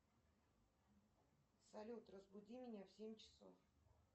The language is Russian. салют разбуди меня в семь часов